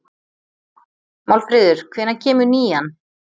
Málfríður, hvenær kemur nían?